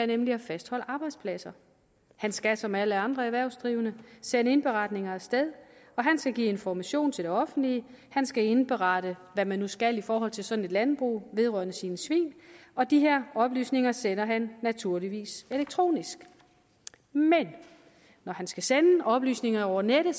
nemlig at fastholde arbejdspladser han skal som alle andre erhvervsdrivende sende indberetninger af sted og han skal give information til det offentlige han skal indberette hvad man nu skal i forhold til sådan et landbrug vedrørende sine svin og de her oplysninger sender han naturligvis elektronisk men når han skal sende oplysningerne over nettet